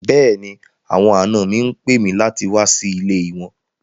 Bẹ́ẹ̀ni, àwọn àná mi ń pè mi láti wà sí ilẹ̀ wọn